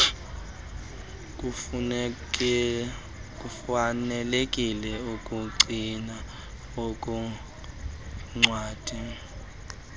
kufanelekileyo ukugcina uluncwadi